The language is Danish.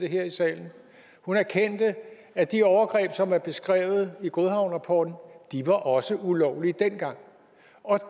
det her i salen hun erkendte at de overgreb som er beskrevet i godhavnrapporten også var ulovlige dengang og